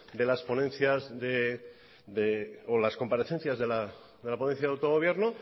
de las comparecencias de la ponencia autogobierno